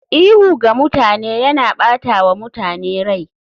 Ihu ga mutane yana ɓata wa mutane rai.